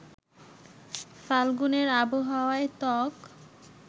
ফাল্গুনের আবহাওয়ায় ত্বক